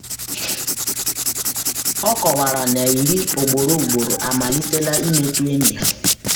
ọ kọwara na ịrị o ugboro ugboro amalitela imetụta enyi ha.